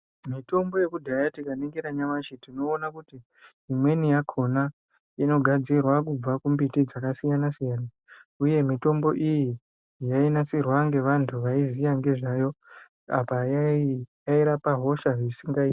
Mitombo yeku dhaya tika ningira nyamashi tinoona kuti imweni yakona inogadzirwa kubva ku mbiti dzaka siyana siyana uye mitombo iyi ino nasirwa nge vantu vaiziya nezvayo apa yai rapa hosha zvisingaiti.